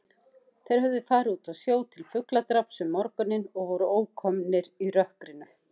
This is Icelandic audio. Þeir höfðu farið út á sjó til fugladráps um morguninn og voru ókomnir í rökkrinu.